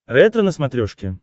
ретро на смотрешке